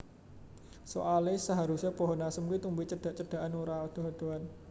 Soale seharuse pohon asem kuwi tumbuhe cedhak cedhakan ora adoh adohan